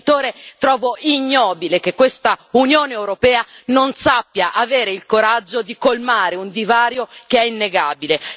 Da genitore trovo ignobile che questa Unione europea non sappia avere il coraggio di colmare un divario che è innegabile.